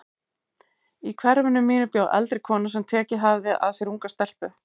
Í hverfinu mínu bjó eldri kona sem tekið hafði að sér unga stelpu.